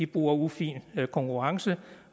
bruger ufin konkurrence